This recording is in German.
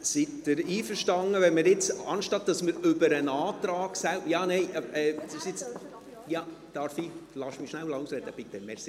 Sind Sie einverstanden, wenn wir jetzt, anstatt über den Antrag selber … Lässt du mich bitte schnell ausreden?